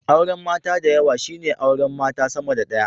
Auren mata dayawa shine aure mata sama da daya